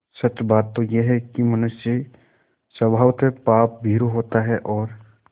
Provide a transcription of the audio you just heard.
सच बात तो यह है कि मनुष्य स्वभावतः पापभीरु होता है और